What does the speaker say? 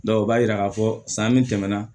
o b'a yira k'a fɔ san min tɛmɛna